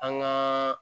An gaa